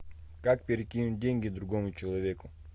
как перекинуть деньги другому человеку